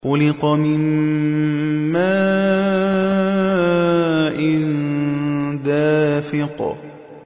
خُلِقَ مِن مَّاءٍ دَافِقٍ